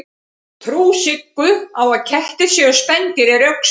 trú siggu á að kettir séu spendýr er rökstudd